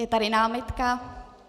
Je tady námitka.